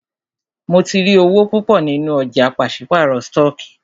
Mó tí rí owó púpọ nínú ọ̀jà pàṣípàrọ̀ stọọkí.